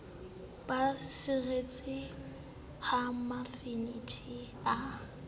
ba seretswe ha mefenetha a